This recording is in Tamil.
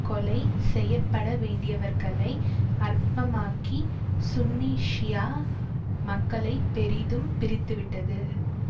கொலை செய்ய பட வேண்டியவர்களை அற்பமாக்கி சுன்னி ஷியா மக்களை பெரிதும் பிரித்து விட்டது